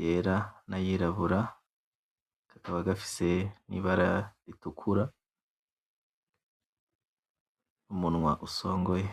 yera n’ayirabura kakaba gafise n’ibara ritukura n’umunwa usongoye.